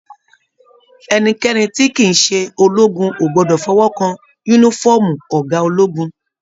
Ẹnikẹni tí kìí ṣe ológun o gbọdọ fọwọkàn yúnífọ̀ọ́mù ọgá ológun.